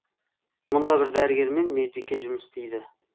мұнда бір дәрігер мен медбике жұмыс істейді